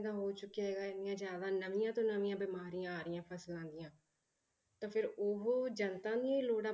ਦਾ ਹੋ ਚੁੱਕਿਆ ਹੈਗਾ ਇੰਨੀਆਂ ਜ਼ਿਆਦਾ ਨਵੀਆਂ ਤੋਂ ਨਵੀਂਆਂ ਬਿਮਾਰੀਆਂ ਆ ਰਹੀਆਂ ਫਸਲਾਂ ਦੀਆਂ ਤਾਂ ਫਿਰ ਉਹ ਜਨਤਾ ਦੀਆਂ ਹੀ ਲੋੜਾਂ